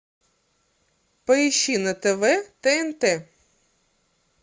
поищи на тв тнт